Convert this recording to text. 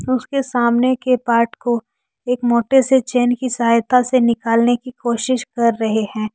उसके सामने के पार्ट को एक मोटे से चैन की सहायता से निकालने की कोशिश कर रहे हैं।